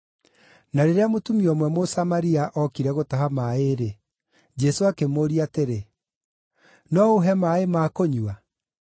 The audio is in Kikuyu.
Na rĩrĩa mũtumia ũmwe Mũsamaria okire gũtaha maaĩ-rĩ, Jesũ akĩmũũria atĩrĩ, “No ũũhe maaĩ ma kũnyua?”